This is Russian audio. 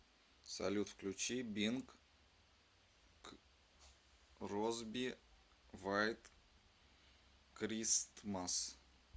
салют включи бинг кросби вайт кристмас